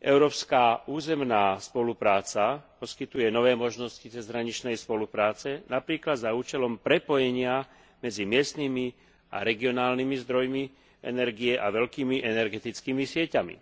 európska územná spolupráca poskytuje nové možnosti cezhraničnej spolupráce, napríklad za účelom prepojenia medzi miestnymi a regionálnymi zdrojmi energie a veľkými energetickými sieťami.